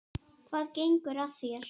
Hvað gengur að þér?